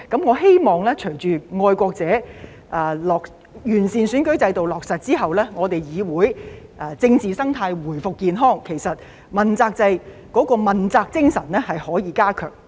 我希望在愛國者落實完善選舉制度之後，議會的政治生態能夠回復健康，問責制的問責精神可以加強。